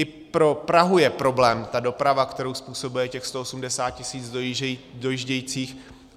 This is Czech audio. I pro Prahu je problém ta doprava, kterou způsobuje těch 180 tisíc dojíždějících.